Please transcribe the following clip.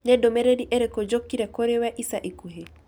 Nĩ ndũmĩrĩri ĩrĩkũ njokire kũrĩ we ica ikuhĩ?